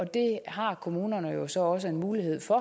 det har kommunerne jo så også en mulighed for